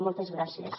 moltes gràcies